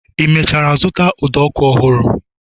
I mechara zụta ụdọ ọkụ ọhụrụ?